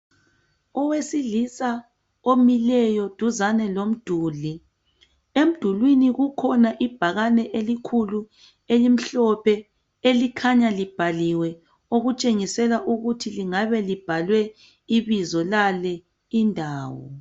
Owesilisa omileyo duzane lomduli emdulwini kukhona ibhakane elikhulu elimhlophe elikhanya libhaliwe okutshengisela ukuthi lingabe libhalwe ibizo lale indawo.